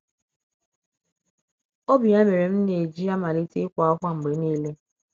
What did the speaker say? Ọ bụ ya mere m na - eji amalite ịkwa ákwá mgbe nile.